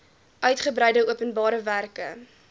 uitgebreide openbare werke